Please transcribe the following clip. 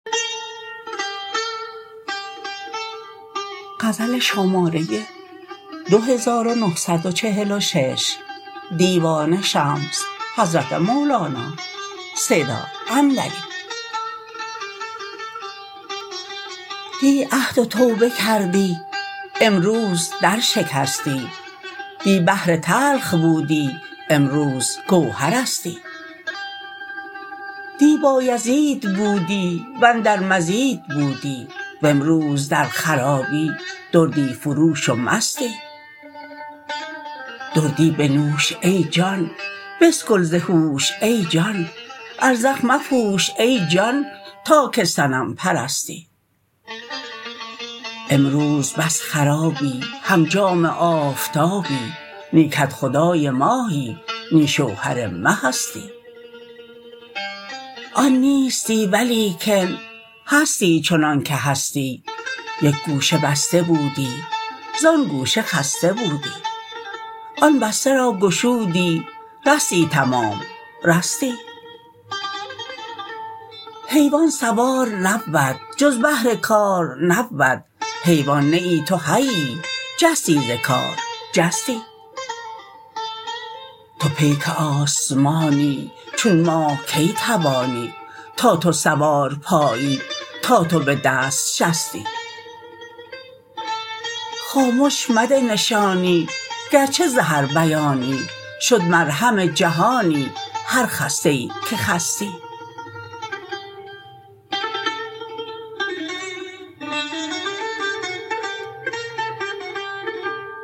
دی عهد و توبه کردی امروز درشکستی دی بحر تلخ بودی امروز گوهرستی دی بایزید بودی و اندر مزید بودی و امروز در خرابی دردی فروش و مستی دردی بنوش ای جان بسکل ز هوش ای جان ازرق مپوش ای جان تا که صنم پرستی امروز بس خرابی هم جام آفتابی نی کدخدای ماهی نی شوهر مهستی افزونی از مساکن بیرونی از معادن آن نیستی ولیکن هستی چنانک هستی یک گوشه بسته بودی زان گوشه خسته بودی آن بسته را گشودی رستی تمام رستی حیوان سوار نبود جز بهر کار نبود حیوان نه ای تو حیی جستی ز کار جستی تو پیک آسمانی چون ماه کی توانی تا تو سوار پایی تا تو به دست شستی خامش مده نشانی گرچه ز هر بیانی شد مرهم جهانی هر خسته ای که خستی